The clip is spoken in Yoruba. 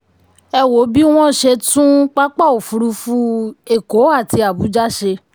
ẹ wo bí wọ́n ṣe tún pápá òfurufú èkó àti abuja ṣe.